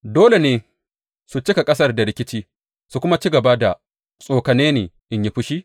Dole ne su cika ƙasar da rikici su kuma ci gaba da tsokane ni in yi fushi?